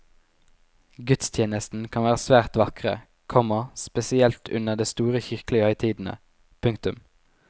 Gudstjenestene kan være svært vakre, komma spesielt under de store kirkelige høytidene. punktum